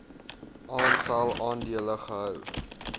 aantal aandele gehou